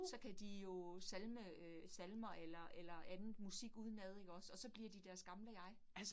Så kan de jo salme øh salmer eller eller andet musik udenad ikke også, og så bliver de deres gamle jeg